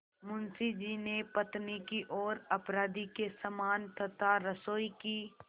मुंशी जी ने पत्नी की ओर अपराधी के समान तथा रसोई की